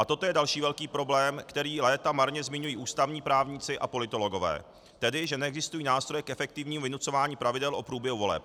A toto je další velký problém, který léta marně zmiňují ústavní právníci a politologové, tedy že neexistují nástroje k efektivnímu vynucování pravidel o průběhu voleb.